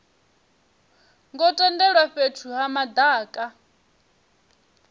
ngo tendelwa fhethu ha madaka